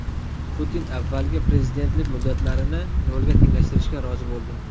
Putin avvalgi prezidentlik muddatlarini nolga tenglashtirishga rozi bo‘ldi.